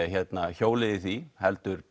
hjólið í því heldur